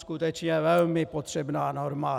Skutečně velmi potřebná norma.